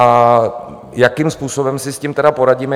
A jakým způsobem si s tím tedy poradíme?